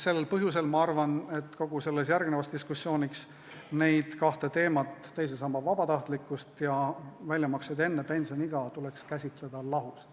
Sel põhjusel arvan ma, et kogu järgnevas diskussioonis tuleks neid kahte teemat – teise samba vabatahtlikkust ja väljamaksete tegemist enne pensioniiga – käsitleda lahus.